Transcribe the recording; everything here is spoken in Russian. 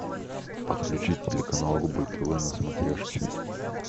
подключи телеканал рубль тв на смотрешке